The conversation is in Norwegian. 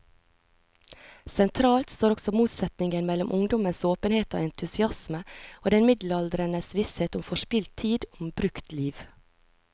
Sentralt står også motsetningen mellom ungdommens åpenhet og entusiasme og den middelaldrendes visshet om forspilt tid, om brukt liv.